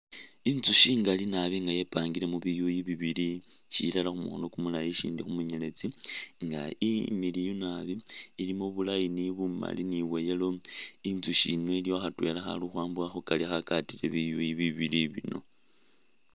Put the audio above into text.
Inzushi ingali nabi nga ye pangile mu biyuyu bibili shilala khu mukhono kumulayi ishindi khu munyeletsi nga imiliyu nabi ilimo bu line bu mali ni bwa yellow inzushi yino iliwo khatwela khali ukhwambukha khukari khagatile biyuyi bi bili bino.